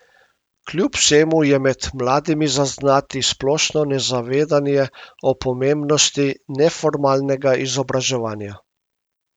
Kljub vsemu je med mladimi zaznati splošno nezavedanje o pomembnosti neformalnega izobraževanja.